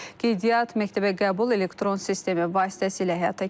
Qeydiyyat məktəbə qəbul elektron sistemi vasitəsilə həyata keçirilir.